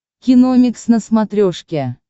киномикс на смотрешке